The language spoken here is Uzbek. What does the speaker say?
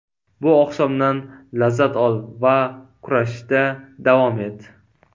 Bu oqshomdan lazzat ol va kurashishda davom et.